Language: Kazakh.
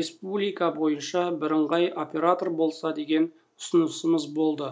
республика бойынша бірыңғай оператор болса деген ұсынысымыз болды